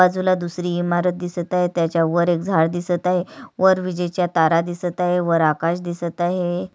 बाजूला दुसरी इमारत दिसत आहे त्याच्या वर एक झाड दिसत आहे वर विजेच्या तारा दिसत आहे वर आकाश दिसत आहे.